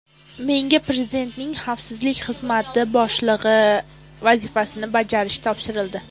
Menga Prezidentning Xavfsizlik Xizmati boshlig‘i vazifasini bajarish topshirildi.